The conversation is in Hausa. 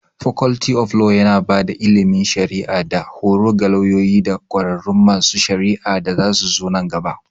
Faculty of Law yana ba da ilimin shari'a da horo ga lauyoyi da ƙwararrun masu shari'a da zasuzo nan gaba.